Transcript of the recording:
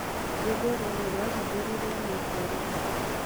rwĩmbo rũrũ rwahingũrirũo mwaka ũrĩkũ